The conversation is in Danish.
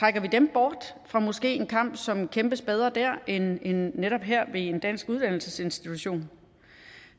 bort fra måske en kamp som kæmpes bedre dér end netop her ved en dansk uddannelsesinstitution